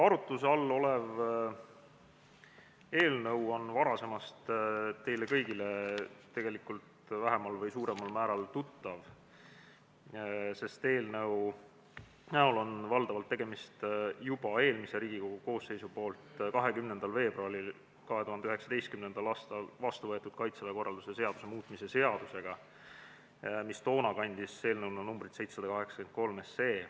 Arutuse all olev eelnõu on varasemast teile kõigile vähemal või suuremal määral tuttav, sest valdavalt on tegemist juba eelmises Riigikogu koosseisus 20. veebruaril 2019. aastal vastu võetud Kaitseväe korralduse seaduse muutmise seadusega, mis toona kandis numbrit 783 SE.